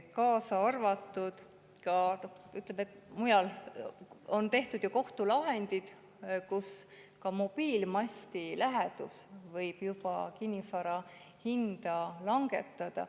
On olnud kohtulahendeid mobiilimasti lähedal elamise asjades, sest ka mobiilimasti lähedus võib kinnisvara hinda langetada.